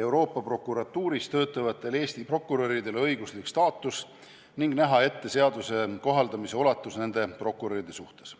Euroopa Prokuratuuris töötavatele Eesti prokuröridele õiguslik staatus ning näha ette seaduse kohaldamise ulatus nende prokuröride suhtes.